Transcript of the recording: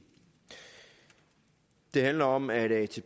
det handler om at